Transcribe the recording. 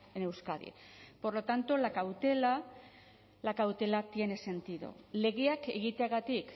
en euskadi por lo tanto la cautela la cautela tiene sentido legeak egiteagatik